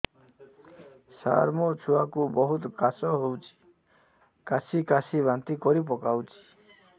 ସାର ମୋ ଛୁଆ କୁ ବହୁତ କାଶ ହଉଛି କାସି କାସି ବାନ୍ତି କରି ପକାଉଛି